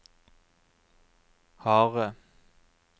harde